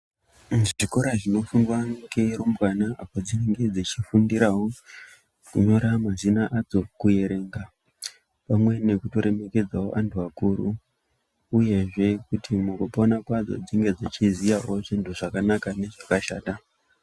Chikora chinofundwa ngerumbwana padzinenge dzeifundirawo kunyora mazina adzo kuerenga pamwe nekuremekedzawo antu akuru uyezve kuti mukupona kwadzo dzinge dzichizivawo zvinhu zvakanaka nezvakashata.